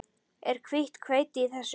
Er hvítt hveiti í þessu?